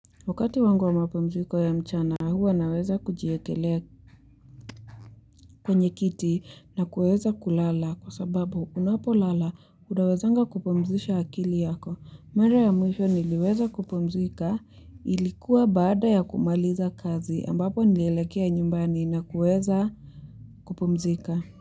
Wakati wangu wa mapumziko ya mchana huwa naweza kujiekelea kwenye kiti na kuweza kulala kwa sababu unapolala unawezanga kupumzisha akili yako. Mara ya mwisho niliweza kupumzika ilikuwa baada ya kumaliza kazi ambapo nilelekea nyumbani na kuweza kupumzika.